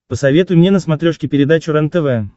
посоветуй мне на смотрешке передачу рентв